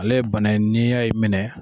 Ale ye bana ye ni a y' i minɛ.